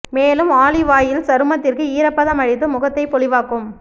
மேலும் olive oil சருமத்திற்கு ஈரப்பதம் அளித்து முகத்தை பொலிவாக்கும்